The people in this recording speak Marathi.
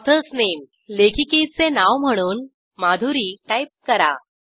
ऑथर्स नामे लेखिकेचे नाव म्हणून मधुरी टाईप करा